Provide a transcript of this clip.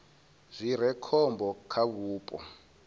zwi re khombo kha vhupo